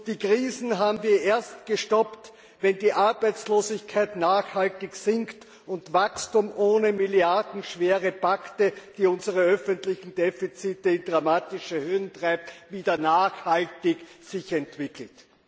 Die Krisen haben wir erst gestoppt, wenn die Arbeitslosigkeit nachhaltig sinkt und sich das Wachstum ohne milliardenschwere Pakete, die unsere öffentlichen Defizite in dramatische Höhen treiben, wieder nachhaltig entwickelt.